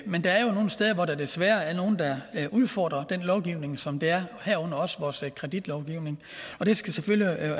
men der er jo nogle steder hvor der desværre er nogle der udfordrer den lovgivning som der er herunder også vores kreditlovgivning det skal selvfølgelig